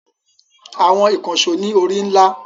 Àwọn ìkànṣó ní orí ńlá.